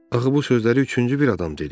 Axı bu sözləri üçüncü bir adam dedi.